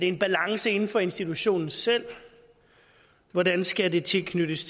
en balance inden for institutionen selv hvordan skal det tilknyttes